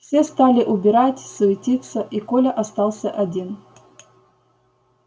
все стали убирать суетиться и коля остался один